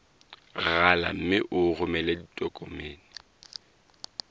rala mme o romele ditokomene